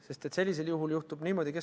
Kes on selle võla omanikud?